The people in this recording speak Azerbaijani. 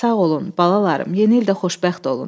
Sağ olun, balalarım, yeni ildə xoşbəxt olun.